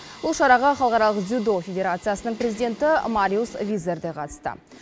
бұл шараға халықаралық дзюдо федерациясының президенті мариус визер де қатысты